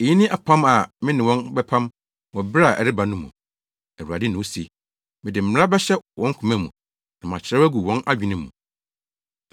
“Eyi ne apam a me ne wɔn bɛpam wɔ bere a ɛreba no mu. Awurade na ose: Mede me mmara bɛhyɛ wɔn koma mu na makyerɛw agu wɔn adwene mu.”